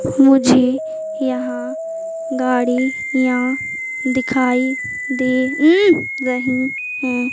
मुझे यहां गाड़ी यां दिखाई दे उम् रही हैं।